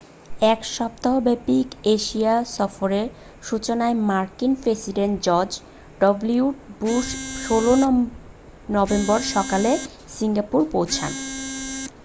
এক সপ্তাহব্যাপী এশিয়া সফরের সূচনায় মার্কিন president George W Bush 16 November সকালে সিঙ্গাপুরে পৌঁছন